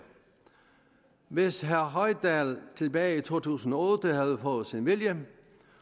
hvis herre hoydal tilbage i to tusind og otte havde fået sin vilje